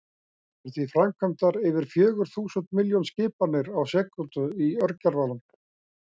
Það eru því framkvæmdar yfir fjögur þúsund milljón skipanir á sekúndu í örgjörvanum!